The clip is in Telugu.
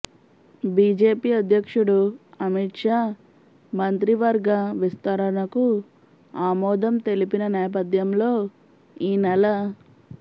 బీజేపీ అధ్యక్షుడు అమిత్ షా మంత్రివర్గ విస్తరణకు ఆమోదం తెలిపిన నేపథ్యంలో ఈ నెల